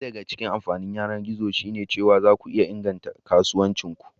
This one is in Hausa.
Daya daga cikin amfanin yanar gizo shine cewa zaku iya inganta kasuwancin ku.